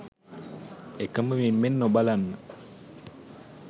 එකම මිම්මෙන් නොබලන්න.